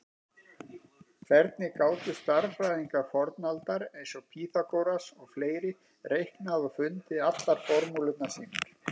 Hvernig gátu stærðfræðingar fornaldar eins og Pýþagóras og fleiri reiknað og fundið allar formúlurnar sínar?